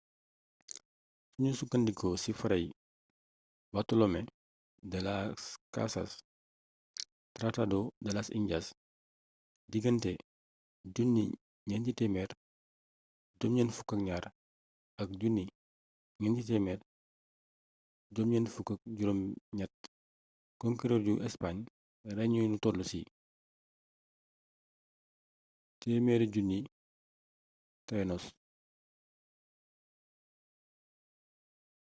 sunu sukkandikoo ci fray bartolomé de las casas tratado de las indias digante 1492 ak 1498 conquereur yu españ rey nañu lu toll ci 100,000 taínos